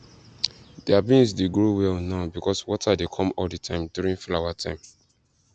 their beans dey grow well now because water dey come all the time during flower time